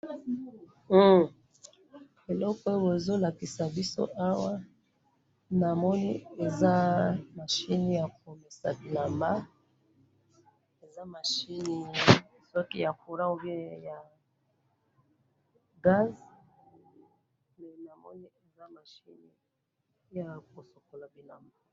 Eloko oyo bozolakisa biso awa, namoni eza mashini akosukola bilamba, mashini soki ya Courant ou bien ya gaz, eh! namoni eza mashini yakosukola bilamba